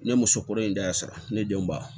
Ne ye musokɔnɔ in da sɔrɔ ne denw ba